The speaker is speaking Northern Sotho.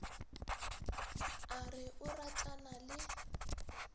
a re o ratana le